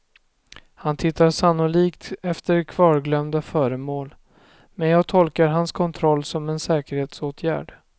Han tittar sannolikt efter kvarglömda föremål, men jag tolkar hans kontroll som en säkerhetsåtgärd.